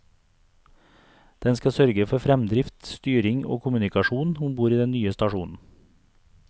Den skal sørge for fremdrift, styring og kommunikasjon om bord i den nye stasjonen.